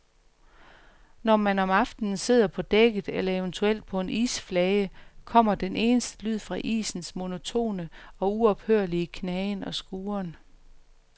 Når man om aftenen sidder på dækket eller eventuelt på en isflage, kommer den eneste lyd fra isens monotone og uophørlige knagen og skuren.